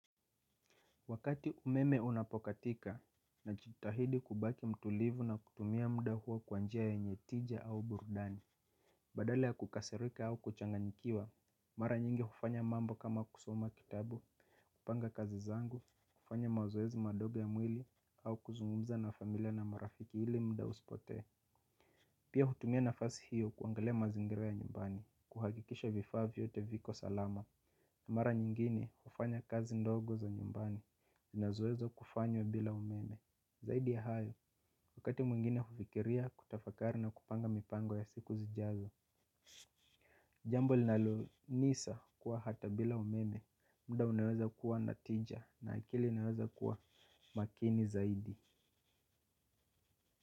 Wakati umeme unapokatika najitahidi kubaki mtulivu na kutumia muda huo kwa njia yenye tija au burudani. Badala ya kukasirika au kuchanganyikiwa mara nyingi hufanya mambo kama kusoma kitabu. Kupanga kazi zangu, kufanya mazoezi madogo ya mwili au kuzungumza na familia na marafiki ili muda usipotee. Pia hutumia nafasi hiyo kuangalia mazingira ya nyumbani kuhakikisha vifaa vyote viko salama. Mara nyingine hufanya kazi ndogo za nyumbani ninazoweza kufanya bila umeme. Zaidi ya hayo wakati mwingine hufikiria, kutafakari, na kupanga mipango ya siku zijazo. Jambo linalonisa kuwa hata bila umeme muda unaweza kuwa na tija na akili unaweza kuwa makini zaidi.